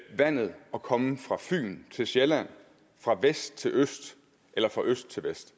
vandet og komme fra fyn til sjælland fra vest til øst eller fra øst til vest